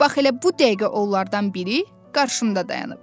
Bax elə bu dəqiqə onlardan biri qarşımda dayanıb.